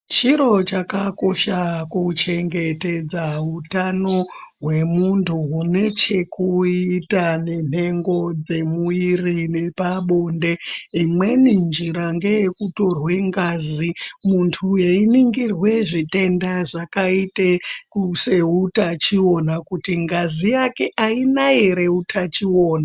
Chiro chakakosha kuchengetedza hutano hwemunhu hunechekuita nenhengo dzemwiri nepabonde imweni njira ndeyekutorwa ngazi munhu einingirwa zvitenda zvakaita seutachiona kutii ngazi yake haina here utachiona